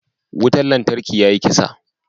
Wutan lantarkin ya yi kasa.